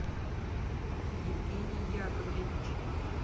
евгений яковлевич